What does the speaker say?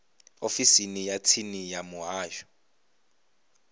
ofisini ya tsini ya muhasho